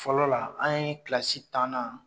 Fɔlɔ la an ye kilasi tannan